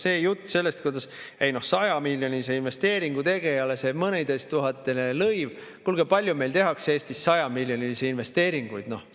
See jutt sellest, et no 100‑miljonilise investeeringu tegijale mõneteisttuhandene lõiv – kuulge, palju meil tehakse Eestis 100‑miljonilisi investeeringuid!?